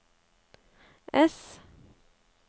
ess